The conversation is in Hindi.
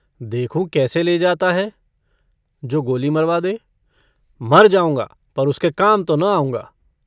देखू कैसे ले जाता है जो गोली मरवा दे मर जाऊँगा पर उसके काम तो न आऊँगा।